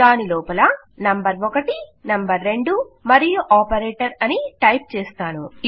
దాని లోపల number 1 number 2 మరియుఆపరేటర్ అని టైప్ చేస్తాను